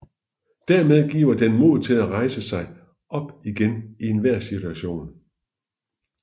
Dermed giver den mod til at rejse sig op igen i enhver situation